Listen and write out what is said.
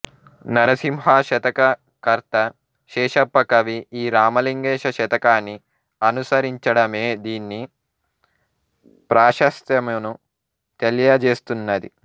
నరసింహ శతక కర్త శేషప్ప కవి ఈ రామలింగేశ శతకాన్ని అనుసరించడమే దీని ప్రాశస్త్యమును తెలియజేస్తున్నది